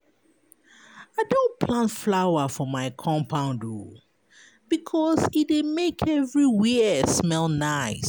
I don plant flower for my compound because e dey make everywhere smell nice.